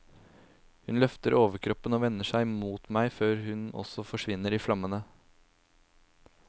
Hun løfter overkroppen og vender seg mot meg før også hun forsvinner i flammene.